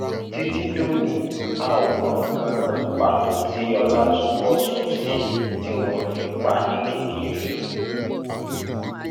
títí dòní a ò mọ nǹkan náà pàtó tí ọlátọbósùn ṣe tí wọn fi pa á ní kékeré